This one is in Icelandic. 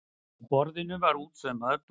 Á borðinu var útsaumaður dúkur.